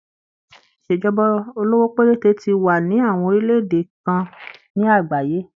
Ìṣèjọba olówó péréte ti wà ní àwọn orílẹ̀-èdè kan ní àgbáyé.